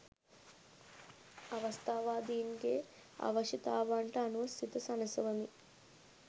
අවස්ථාවාදීන්ගේ අවශ්‍යතාවන්ට අනුව සිත සනසවමින්